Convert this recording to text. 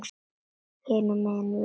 Hinum megin við vatnið.